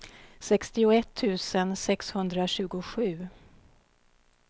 sextioett tusen sexhundratjugosju